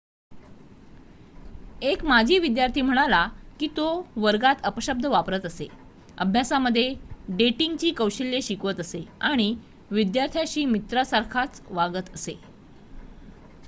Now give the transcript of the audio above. एक माजी विद्यार्थी म्हणाला की 'तो वर्गात अपशब्द वापरत असे अभ्यासामध्ये डेटिंगची कौशल्ये शिकवत असे आणि विद्यार्थ्यांशी मित्रासारखाच वागत असे.'